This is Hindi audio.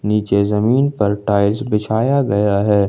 नीचे जमीन पर टाइल्स बिछाया गया है।